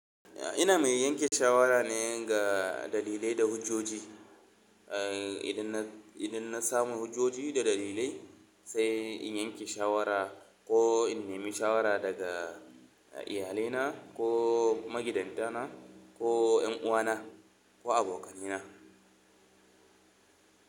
Ina mai yanke shawara ne ga dalilai da hujjoji. Idan na, idan na samu hujjoji da dalilai sai in yanke shawara ko in nemi shawara daga iyalina ko magidanta na, ko yan uwana ko abokanai na.